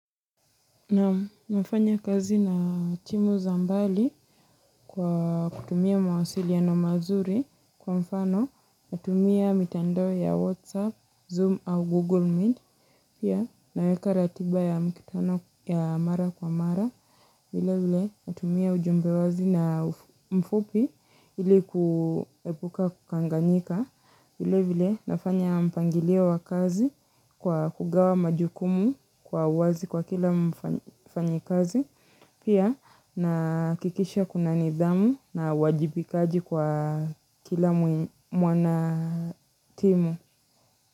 Naam nafanya kazi na timu za mbali kwa kutumia mawasiliano mazuri kwa mfano natumia mitandao ya WhatsApp, Zoom au Google Meet. Pia naweka ratiba ya mkutano ya mara kwa mara, vilevile natumia ujumbe wazi na mfupi ilikuepuka kukanganyika, vilevile nafanya mpangilio wa kazi kwa kugawa majukumu kwa wazi kwa kila mfanyikazi, pia nahakikisha kuna nidhamu na uwajibikaji kwa kila mwanatimu.